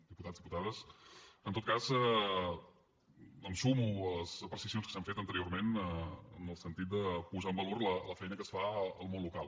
diputats diputades en tot cas em sumo a les precisions que s’han fet anteriorment en el sentit de posar en valor la feina que es fa al món local